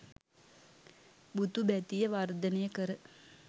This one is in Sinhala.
බුදු බැතිය වර්ධනය කර